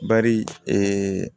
Bari